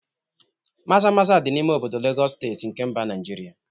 Maza maza di n'ime obodo Legọs steeti nke mba Naịjirịa